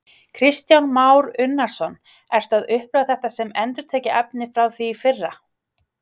Kristján Már Unnarsson: Ertu að upplifa þetta sem endurtekið efni frá því í fyrra?